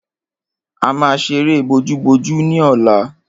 A máa ṣeré bojúbojú ní ọ̀la.